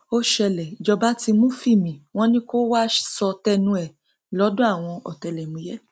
ó ṣẹlẹ ìjọba ti mú fímí wọn ni kó wàá sọ tẹnu ẹ lọdọ àwọn ọtẹlẹmúyẹ